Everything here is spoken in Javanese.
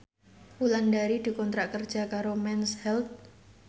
Wulandari dikontrak kerja karo Mens Health